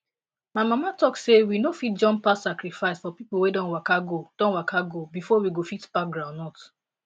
my mama talk say we no fit jump pass sacrifice for people wey don waka go don waka go before we go fit pack groundnut